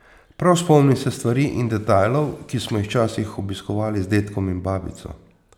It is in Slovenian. Prav spomnim se stvari in detajlov, ki smo jih včasih obiskovali z dedkom in babico.